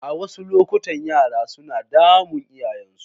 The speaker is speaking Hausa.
A wasu lokuta yara suna damun iyayensu.